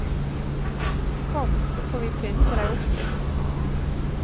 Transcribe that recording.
Kom, så får vi pynte deg opp litt.